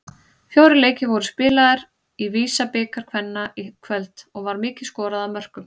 Fjórir leikir voru spilaðir í VISA-bikar kvenna í kvöld og var mikið skorað af mörkum.